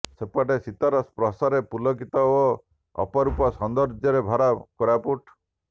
ସେପଟେ ଶୀତର ସ୍ପର୍ଶରେ ପୁଲକିତ ଓ ଅପରୂପ ସୌନ୍ଦର୍ଯ୍ୟରେ ଭରା କୋରାପୁଟ